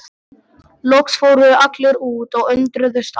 Loks fóru allir út og undruðust að